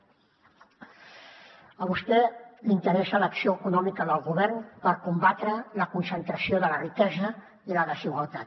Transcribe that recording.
a vostè l’interessa l’acció econòmica del govern per combatre la concentració de la riquesa i la desigualtat